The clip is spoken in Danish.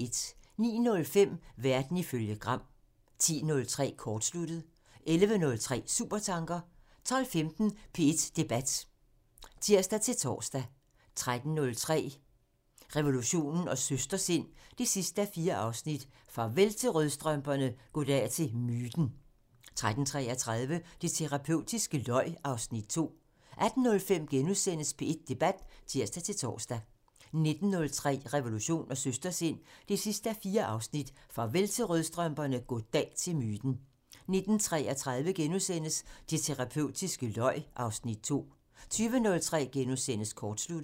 09:05: Verden ifølge Gram (tir) 10:03: Kortsluttet (tir) 11:03: Supertanker (tir) 12:15: P1 Debat (tir-tor) 13:03: Revolution & Søstersind 4:4 Farvel til rødstrømperne, goddag til myten! 13:33: Det terapeutiske løg (Afs. 2) 18:05: P1 Debat *(tir-tor) 19:03: Revolution & Søstersind 4:4 Farvel til rødstrømperne, goddag til myten! 19:33: Det terapeutiske løg (Afs. 2)* 20:03: Kortsluttet *(tir)